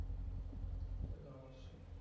সে তো অবশ্যই